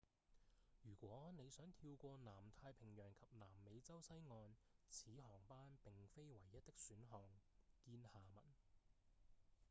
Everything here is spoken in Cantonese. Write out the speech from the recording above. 如果你想跳過南太平洋及南美洲西岸此航班並非唯一的選項見下文